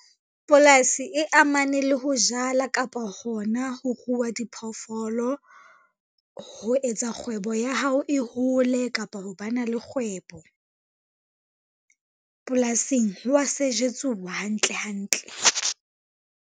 Polasi e amane le ho jala kapa hona ho rua diphoofolo, ho etsa kgwebo ya hao e hole kapa ho bana le kgwebo. Polasing ho wa sejetsuwa hantle hantle.